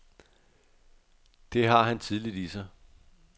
Det har han tidligt i sig.